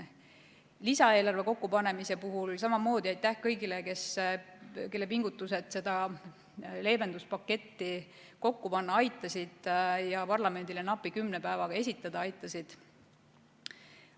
Lisaeelarve kokkupanemise puhul ütlen samamoodi aitäh kõigile, kes seda leevenduspaketti kokku panna ja parlamendile napi kümne päevaga esitada aitasid.